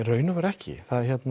raun og veru ekki